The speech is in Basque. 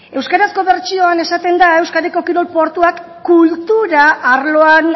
euskarazko bertsioan esaten da euskadiko kirol portuak kultura arloan